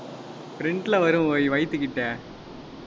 front ல வரும் ஒய் வயித்துக்கிட்ட.